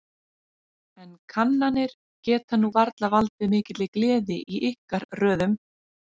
En kannanir geta nú varla valdið mikilli gleði í ykkar röðum?